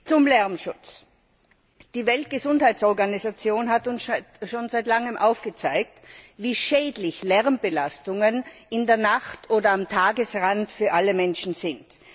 Zum Lärmschutz Die Weltgesundheitsorganisation hat uns schon seit langem aufgezeigt, wie schädlich Lärmbelastungen in der Nacht oder am Tagesrand für alle Menschen sind.